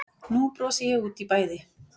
Nú brosi ég út í bæði